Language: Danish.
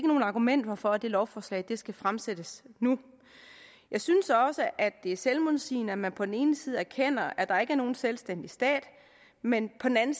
nogen argumenter for at det lovforslag skal fremsættes nu jeg synes også at det er selvmodsigende at man på den ene side erkender at der ikke er nogen selvstændig stat men på den anden